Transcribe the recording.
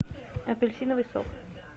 апельсиновый сок